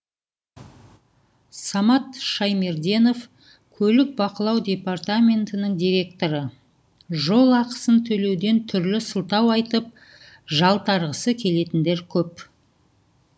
самат шаймерденов көлік бақылау департаментінің директоры жол ақысын төлеуден түрлі сылтау айтып жалтарғысы келетіндер көп